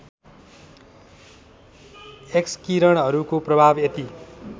एक्सकिरणहरूको प्रभाव यति